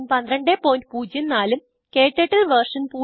1204 ഉം ക്ടർട്ടിൽ വെർഷൻ